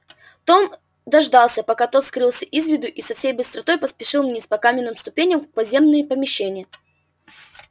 том дождался пока тот скрылся из виду и со всей быстротой поспешил вниз по каменным ступеням в подземные помещения